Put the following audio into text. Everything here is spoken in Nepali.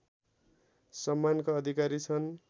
सम्मानका अधिकारी छन्